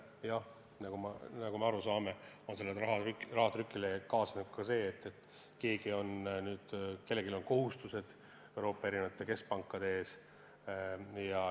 Jah, nagu me aru saame, rahatrükiga kaasneb see, et kellelgi on kohustused Euroopa keskpankade ees.